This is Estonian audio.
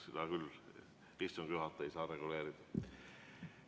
Seda küll istungi juhataja ei saa reguleerida.